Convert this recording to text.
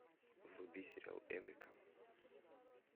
вруби сериал эврика